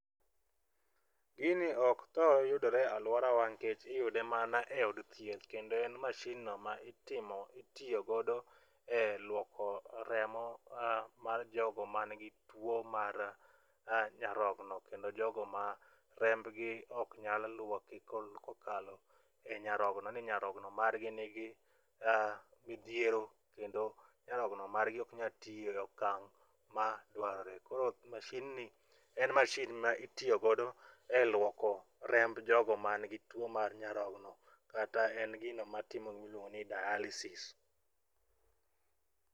Gini ok thor yudore e alworawa nikech iyude mana e od thieth kendo en masinno ma itiyo godo e lwoko remo mar jogo manigi tuwo mar nyarogno kendo jogo ma rembgi ok nyal lwoki kokalo e nyarognoni, nyarogno margi nigi midhiero kendo nyarogno margi ok nyal tiyo e okang' ma dwarore. Koro mashinni en mashin ma itiyo godo e lwoko remb jogo manigi tuwo mar nyarogno kata en gino matinde ilwongo ni dialysis.